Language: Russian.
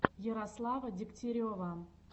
ярослава дегтярева